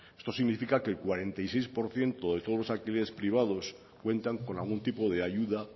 esto significa que el cuarenta y seis por ciento de todos los alquileres privados cuentan con algún tipo de ayuda